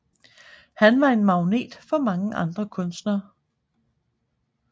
Han var en magnet for mange andre kunstnere